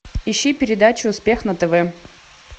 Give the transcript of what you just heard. ищи передачу успех на тв